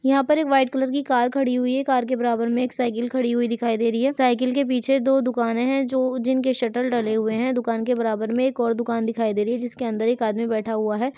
यहाँ पर एक व्हाइट कलर की कार खड़ी हुई है। कार के बराबर मे एक साइकल खड़ी हुई दिखाई दे रही है साइकल के पीछे दो दुकाने हैं जो जिनके शटल डले हुए है दुकान के बराबर में एक और दुकान दिखाई दे रही है जिसके अंदर एक आदमी बैठा हुआ है।